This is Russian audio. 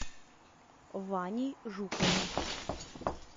ваней жуковым